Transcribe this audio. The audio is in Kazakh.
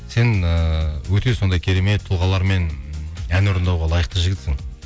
сен ііі өте сондай керемет тұлғалармен ән орындауға лайықты жігітсің